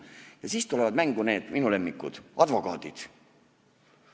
Ja siis tulevad mängu minu lemmikud, advokaadid.